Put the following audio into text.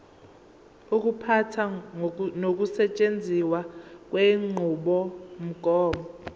ukuphatha nokusetshenziswa kwenqubomgomo